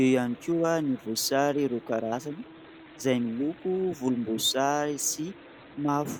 eo ihany koa ny voasary roa karazany izay miloko volomboasary sy mavo.